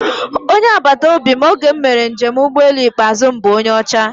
Onye agbataobi m oge m mere njem ụgbọelu ikpeazụ m bụ onye ọcha